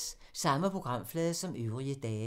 Samme programflade som øvrige dage